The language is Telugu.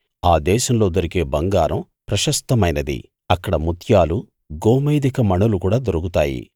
ఆ దేశంలో దొరికే బంగారం ప్రశస్తమైనది అక్కడ ముత్యాలు గోమేధిక మణులు కూడా దొరుకుతాయి